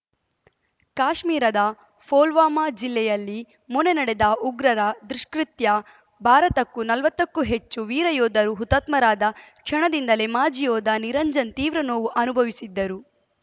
ಕಾಶ್ಮೀರದ ಫೊಲ್ವಾಮಾ ಜಿಲ್ಲೆಯಲ್ಲಿ ಮೊನ್ನೆ ನಡೆದ ಉಗ್ರರ ದುಷ್ಕೃತ್ಯ ಭಾರತಕ್ಕೂ ನಲ್ವತ್ತಕ್ಕೂ ಹೆಚ್ಚು ವೀರ ಯೋಧರು ಹುತಾತ್ಮರಾದ ಕ್ಷಣದಿಂದಲೇ ಮಾಜಿ ಯೋಧ ನಿರಂಜನ್‌ ತೀವ್ರ ನೋವು ಅನುಭವಿಸಿದ್ದರು